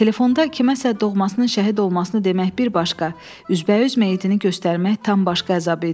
Telefonda kiməsə doğmasının şəhid olmasını demək bir başqa, üzbəüz meyitini göstərmək tam başqa əzab idi.